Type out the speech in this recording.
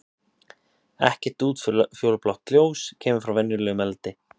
Ekkert útfjólublátt ljós kemur frá venjulegum eldi.